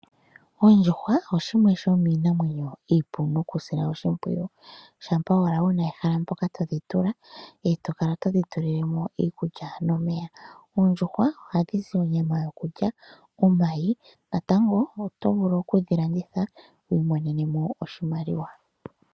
Ondjuhwa oshimwe sho miinamwenyo iipu mokusilwa oshimpwiyu, shampa wala wuna ehala mpoka todhi tula, etokala todhi tulilemo iikulya nomeya, oondjuhwa oha dhizi onyama yokulya, omayi natango otovulu oku dhilanditha wiimonenemo oshimaliwa.